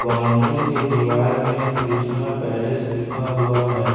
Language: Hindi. बाउंड्री के दीवाल में कृष्ण पैलेस लिखा हुआ है।